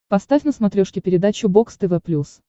поставь на смотрешке передачу бокс тв плюс